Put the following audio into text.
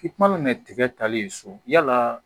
I mana mɛ tigɛ ta le ye so yala